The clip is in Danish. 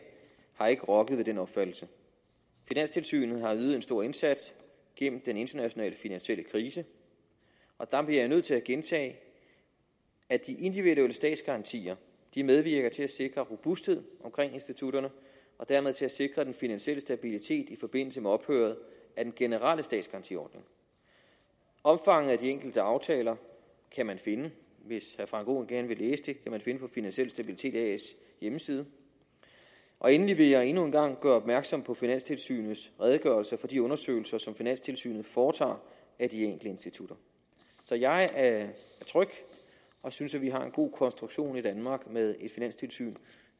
har ikke rokket ved den opfattelse finanstilsynet har ydet en stor indsats igennem den internationale finansielle krise og der bliver jeg nødt til at gentage at de individuelle statsgarantier medvirker til at sikre robusthed omkring institutterne og dermed til at sikre den finansielle stabilitet i forbindelse med ophøret af den generelle statsgarantiordning omfanget af de enkelte aftaler kan man finde hvis herre frank aaen gerne vil læse det på finansiel stabilitet as hjemmeside endelig vil jeg endnu en gang gøre opmærksom på finanstilsynets redegørelse fra de undersøgelser som finanstilsynet foretager af de enkelte institutter så jeg er tryg og synes at vi har en god konstruktion i danmark med et finanstilsyn